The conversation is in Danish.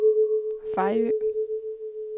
Fejø